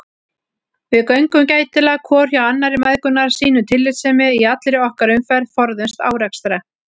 Við göngum gætilega hvor hjá annarri mæðgurnar, sýnum tillitssemi í allri okkar umferð, forðumst árekstra.